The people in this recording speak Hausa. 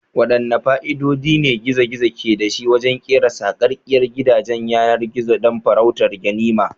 Waɗanne fa'idodi ne gizo-gizo ke da shi wajen kera sarkakkiyar gidajen yanar gizo don farautar ganima?